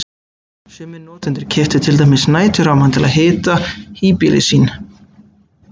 Sumir notendur keyptu til dæmis næturrafmagn til að hita híbýli sín.